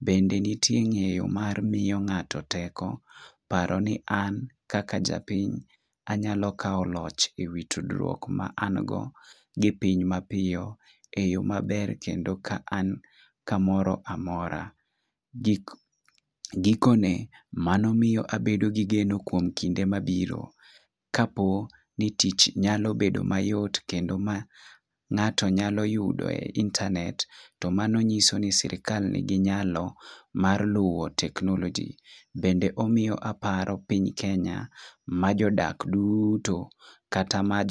Bende ntie ngeyo mamiyo ngato teko paro ni an kaka japiny anyalo kawo och ewi tudruok ma an go gi piny mapiyo e yoo maber kendo ka an kamoro amora. Gik gikone mano miyo abedo gi geno kuom kinde ma biro . Kapo ni tich nya bedo mayot kendo ng'ato nyalo yudo e internet to mano nyalo nyiso ni sirikal nigi nyalo mar luwo technology kendo omiyo aparo piny kenya ma jodak duto kata ma